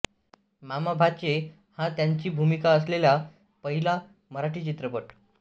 मामा भाचे हा त्यांची भूमिका असलेला पहिला मराठी चित्रपट